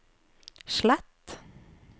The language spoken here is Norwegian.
slett